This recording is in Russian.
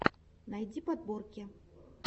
найти подборки